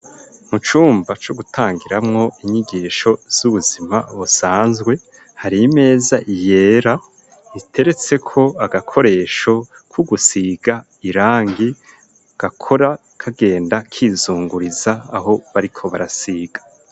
Mu cumba co gutangiramwo inyigisho z'ubuzima busanzwe hari imeza yera iteretse ko agakoresho k'ugusiga irangi gakora kagenda kizunguriza aho bariko barasiga.